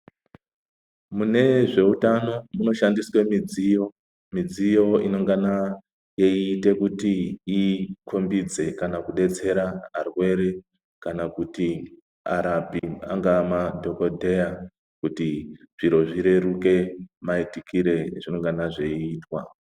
Mune zveutano munoshandiswe midziyo. Midziyo inongana yeiite kuti ikumbidze kana kudetsera arwere kana kuti arapi angaa madhokodheya kuti zviro zvireruke maitikire ezvinongana zveiitwa.